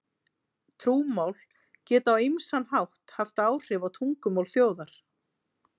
Trúmál geta á ýmsan hátt haft áhrif á tungumál þjóðar.